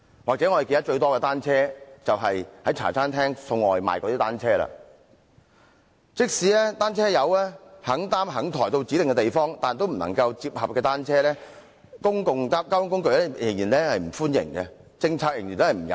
即使"單車友"願意把單車擔抬到公共交通工具上指定的地方，但不能摺合的單車，公共交通工具仍然不歡迎，有關的政策仍然不友善。